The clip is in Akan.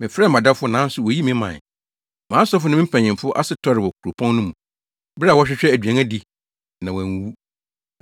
“Mefrɛɛ mʼadɔfo nanso woyii me mae. Mʼasɔfo ne me mpanyimfo ase tɔree wɔ kuropɔn no mu, bere a wɔrehwehwɛ aduan adi na wɔanwuwu.